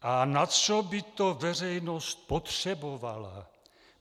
"A na co by to veřejnost potřebovala?